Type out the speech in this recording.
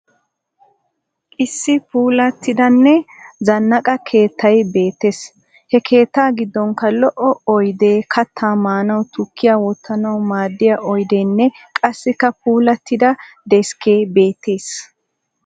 Issi puulattidanne zannaqa keettay beettes. He keettaa giddonkka lo'o oyidee kaattaa maanawunne tukkiya wottanawu maaddiya oyideenne qassikka puulattida deskkee beettes.